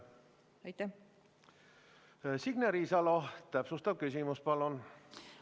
Signe Riisalo, täpsustav küsimus palun!